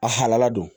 A halala don